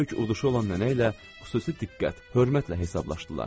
Ən böyük uduşu olan nənə ilə xüsusi diqqət, hörmətlə hesablaşdılar.